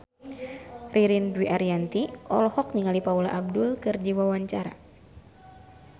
Ririn Dwi Ariyanti olohok ningali Paula Abdul keur diwawancara